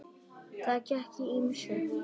Þar gekk á ýmsu.